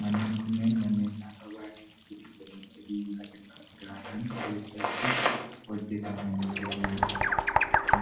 Manneen kunneen manneen naannoo baadiyaa giddu galeessa biyyaa irraa fagaatan keessatti hojjatamanii jiranii dha.